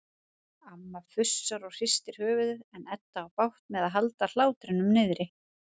Amma fussar og hristir höfuðið en Edda á bágt með að halda hlátrinum niðri.